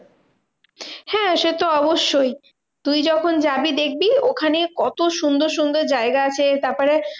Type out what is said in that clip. হ্যাঁ সেতো অবশ্যই, তুই যখন যাবি দেখবি ওখানে কত সুন্দর সুন্দর জায়গা আছে। তারপরে